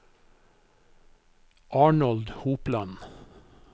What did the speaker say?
Arnold Hopland